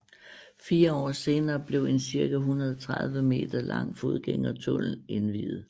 Fire år senere blev en cirka 130 meter lang fodgængertunnel indviet